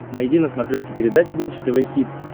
найди на смотрешке передачу бридж тв хитс